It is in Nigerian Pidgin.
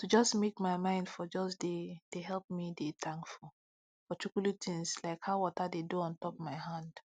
to jus make my mind for jus de de helep me de tankful for chukuli tins like how wata de do ontop my hand